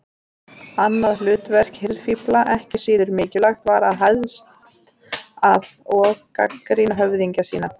Annað hlutverk hirðfífla, ekki síður mikilvægt, var að hæðast að og gagnrýna höfðingja sína.